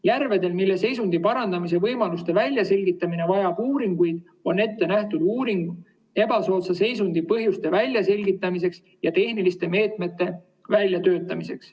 Järvedel, mille seisundi parandamise võimaluste väljaselgitamine vajab uuringuid, on ette nähtud uuring ebasoodsa seisundi põhjuste väljaselgitamiseks ja tehniliste meetmete väljatöötamiseks.